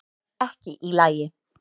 Ekki í lagi